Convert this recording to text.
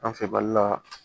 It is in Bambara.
An fɛ mali la